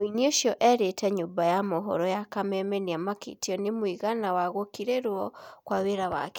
Mũini ũcio erĩ te nyũmba ya mohoro ya Kameme nĩ amakĩ tio nĩ mũigana wa gũkĩ rĩ rwo kwa wĩ ra wake